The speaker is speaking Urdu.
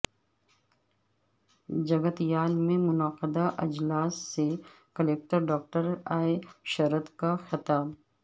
جگتیال میں منعقدہ اجلاس سے کلکٹر ڈاکٹر اے شرت کا خطاب